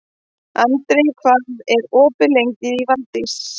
Andri, hvað er opið lengi í Valdís?